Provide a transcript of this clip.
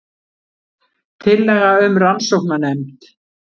Tillaga um rannsóknanefnd